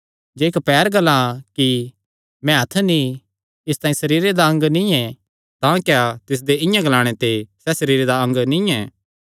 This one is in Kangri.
जे इक्क पैर ग्लां कि मैं हत्थ नीं इसतांई सरीरे दा अंग नीं तां क्या तिसदे इआं ग्लाणे ते सैह़ सरीरे दा अंग नीं ऐ